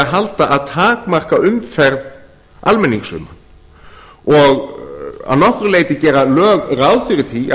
halda að takmarka umferð almennings um það og að nokkru leyti gera lög ráð fyrir því